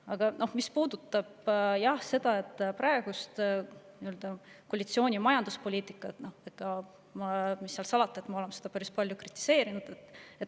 Aga mis puudutab koalitsiooni praegust majanduspoliitikat, siis mis seal salata, me oleme seda päris palju kritiseerinud.